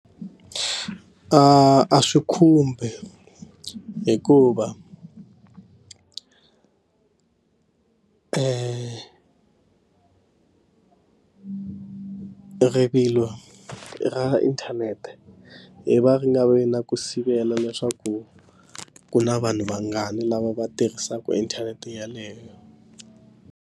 A a swi khumbi hikuva rivilo ra inthanete hi va ri nga vi na ku sivela leswaku ku na vanhu vangani lava va tirhisaka inthanete yeleyo.